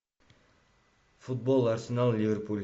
футбол арсенал ливерпуль